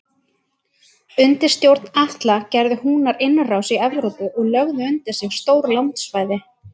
Undir stjórn Atla gerðu Húnar innrás í Evrópu og lögðu undir sig stór landsvæði.